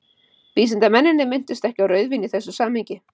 Vísindamennirnir minntust ekki á rauðvín í þessu samhengi.